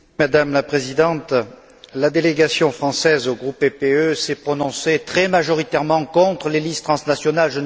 Madame la Présidente, la délégation française au groupe PPE s'est prononcée très majoritairement contre les listes transnationales.